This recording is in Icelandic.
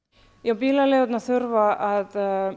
bílaleigurnar þurfa að